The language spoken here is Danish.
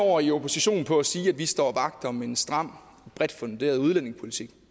år i opposition på at sige at vi står vagt om en stram og bredt funderet udlændingepolitik